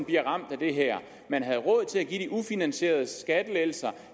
bliver ramt af det her man havde råd til at give de ufinansierede skattelettelser